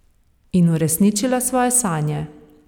In uresničila svoje sanje.